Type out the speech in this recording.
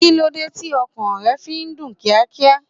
Kíló dé tí ọkàn rẹ fi ń dún kíákíá?